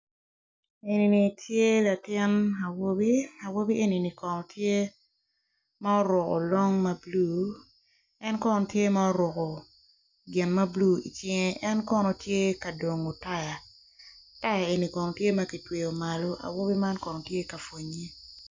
Eni kono tye latin awobi, awobi eni kono tye ma oruko long ma bule en kono tye ma oruko gin blue i cinge en kono tye ka dongo taya. Taya eni kono tye ma kitweyo malo, awobi eni kono tye ka pwonye.